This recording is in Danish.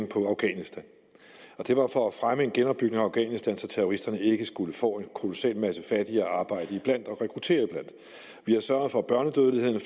på afghanistan og det var for at fremme en genopbygning af afghanistan så terroristerne ikke skulle få en kolossal masse fattige at arbejde iblandt og rekruttere iblandt vi har sørget for at børnedødeligheden